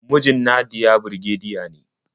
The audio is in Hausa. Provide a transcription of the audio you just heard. Mijin Nadiya birgediya ne.